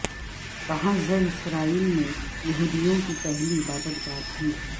کہال زر اسرائیل میں یہودیوں کی پہلی عبادت گاہ تھی